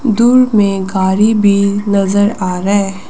दूर में गाड़ी भी नजर आ रहा है।